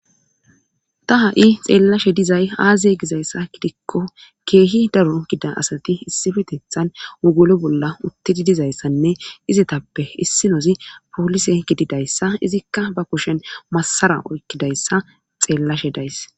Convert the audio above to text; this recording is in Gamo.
Ta ha7i xeellashe dizay aazee gizayssa gidikko keehi daro gida asati issifetethan wugolo bolla uttidi dizayssanne izetappe issinozi poolise gididayssa izikka ba kushen masara oykkidayssa xeellashe days.